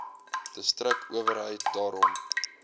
distrik owerheid daarom